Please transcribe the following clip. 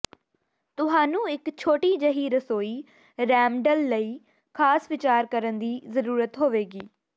ਤੁਹਾਨੂੰ ਇੱਕ ਛੋਟੀ ਜਿਹੀ ਰਸੋਈ ਰੈਮਡਲ ਲਈ ਖਾਸ ਵਿਚਾਰ ਕਰਨ ਦੀ ਜ਼ਰੂਰਤ ਹੋਏਗੀ